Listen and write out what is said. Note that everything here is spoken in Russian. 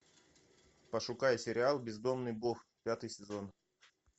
пошукай сериал бездомный бог пятый сезон